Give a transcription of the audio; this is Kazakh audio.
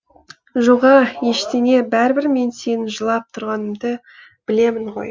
жоға ештеңе бәрібір мен сенің жылап тұрғаныңды білемін ғой